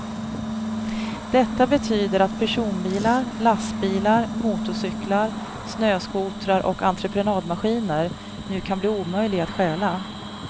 Detta betyder att personbilar, lastbilar, motorcyklar, snöskotrar och entreprenadmaskiner nu kan bli omöjliga att stjäla.